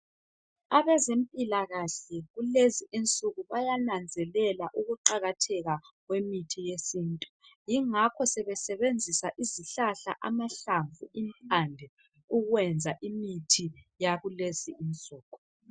Abezempilakahle kulezi insuku bayananzelela ukuqakatheka kwemithi yesintu yingakho sebesebenzisa izihlahla, amahlamvu, impande ukwenza imithi yakulezi insuku.